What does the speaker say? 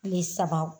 Kile saba